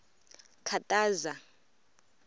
khataza